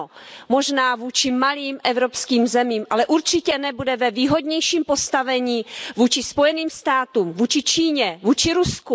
Ano, možná vůči malým evropským zemím, ale určitě nebude ve výhodnějším postavení vůči Spojeným státům, Číně či Rusku.